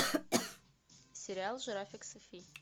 сериал жирафик софи